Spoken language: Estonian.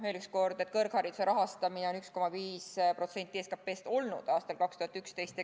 Veel kord: kõrghariduse rahastamine on varem olnud 1,5% SKT-st, nii oli aastal 2011.